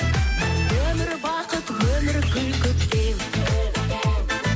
бұл өмір бақыт өмір гүл көктем